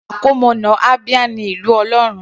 Àkọmọ̀nà Abia ní Ìlú Ọlọ́run.